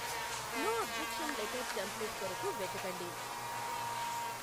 No objection letter template కొరకు వెతకండి.